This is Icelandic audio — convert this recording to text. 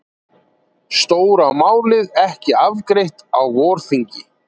Stóra málið ekki afgreitt á vorþingi